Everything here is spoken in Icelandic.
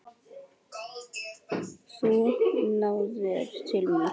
Þú náðir til mín.